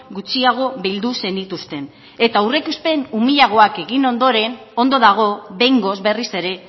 gutxiago bildu zenituzten eta aurreikuspen umilagoak egin ondoren ondo dago behingoz berriz ere